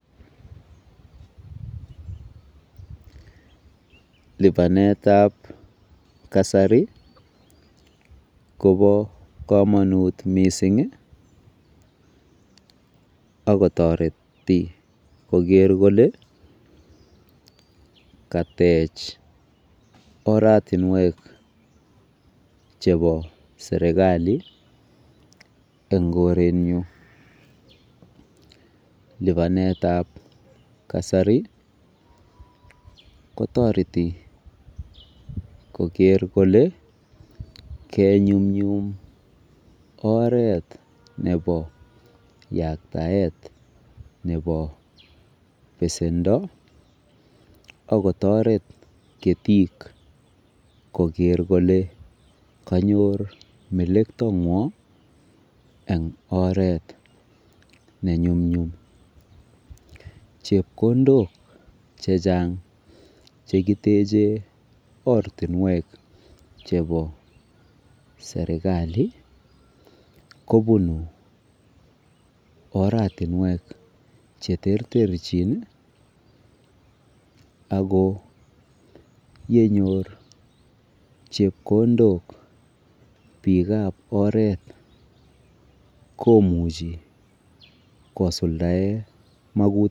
(Pauese)Lipanet ap kasari kopa kamanut missing' ako tareti koker kole katech oratunwek chepa serikali eng' korenyu. Lipanet ap kasari kotareti koker kole ke nyumnyum. Chepkondok che chang' che kiteche ortunwek chepo serikali kopunu oratunwek che terchin ako ye nyor chepkondok piik ap oret komuchi kosuldaen makutikwak.